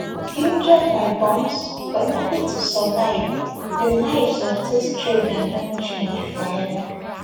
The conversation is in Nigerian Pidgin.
injured by bombs but lucky to survive di lives of dis children don change forever